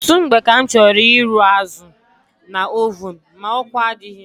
Ọtụtụ mgbe ka m chọrọ ịrụ azụ na ovun ma ọkụ adịghị.